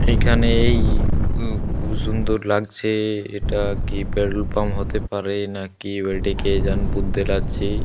এখানে এই খুব সুন্দর লাগছে। এটা কি পেট্রল পাম্প হতে পারে না কে জানে বুঝতে লারছে।